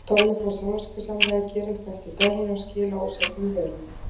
Tommi fór samviskusamlega að gera upp eftir daginn og skila óseldum vörum.